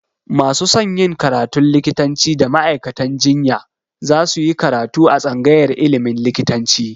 Masu son yin karatun likitanci da ma'aikatan jinya za su yi karatu a tsangayar ilimin likitanci